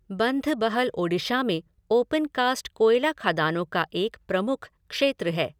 बंधबहल ओडिशा में open cast कोयला खदानों का एक प्रमुख क्षेत्र है।